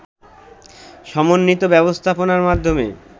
সমন্বিত ব্যবস্থাপনার মাধ্যমে